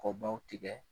Kɔ baw tigɛ